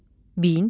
Bint.